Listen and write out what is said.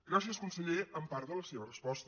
gràcies conseller en part de la seva resposta